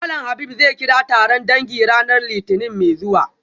Malam Habib zai kira taron dangi ranar litinin mai zuwa